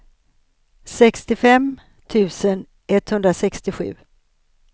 sextiofem tusen etthundrasextiosju